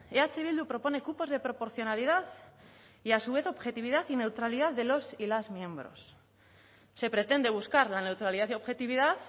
eh bildu propone cupos de proporcionalidad y a su vez objetividad y neutralidad de los y las miembros se pretende buscar la neutralidad y objetividad